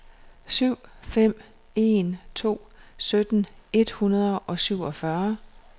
syv fem en to sytten et hundrede og syvogfyrre